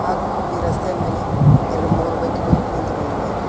ಹಾಗು ಈ ರಸ್ತೆಯ ಮೇಲೆ ಎರಡ್ಮೂರು ಬೈಕುಗಳು ನಿಂತುಕೊಂಡಿವೆ.